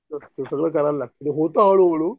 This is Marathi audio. सगळं कराय लागत होत हळू हळू